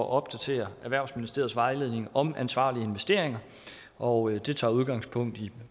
at opdatere erhvervsministeriets vejledning om ansvarlige investeringer og det tager udgangspunkt i